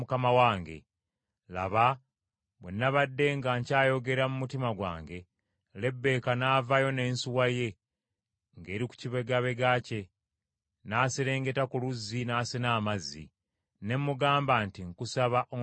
“Laba, bwe nabadde nga nkyayogera mu mutima gwange, Lebbeeka n’avaayo n’ensuwa ye ng’eri ku kibegabega kye, n’aserengeta ku luzzi n’asena amazzi. Ne mugamba nti, ‘Nkusaba ompe nyweko.’